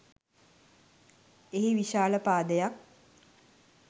එහි විශාල පාදයක්